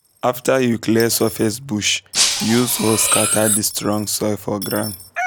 after you clear surface bush um use hoe scatter the strong soil for ground